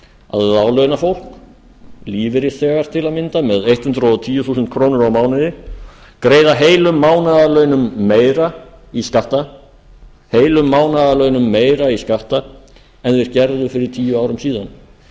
að láglaunafólk lífeyrisþegar til að mynda með hundrað og tíu þúsund krónur á mánuði greiða heilum mánaðarlaunum meira í skatta en þau gerðu fyrir tíu árum síðan